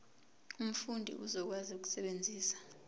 umfundi uzokwazi ukusebenzisa